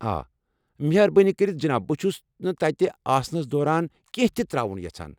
آ، مہربٲنی کٔرِتھ جناب، بہٕ چھُس نہٕ تتہِ آسنس دوران کینٛہہ تہِ تر٘اوُن یژھان ۔